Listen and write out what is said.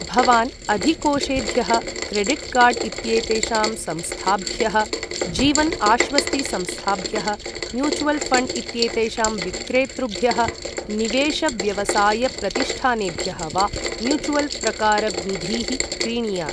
भवान् अधिकोषेभ्यः, credit card इत्येतेषां संस्थाभ्यः, जीवन आश्वस्ति संस्थाभ्यः, म्यूचुवल् ऴण्ड् इत्येतेषां विक्रेतृभ्यः, निवेश व्यवसायप्रतिष्ठानेभ्यः वा म्यूचुवल् प्रकार निधीः क्रीणीयात्।